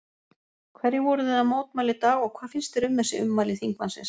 Hverju voruð þið að mótmæla í dag og hvað finnst þér um þessi ummæli þingmannsins?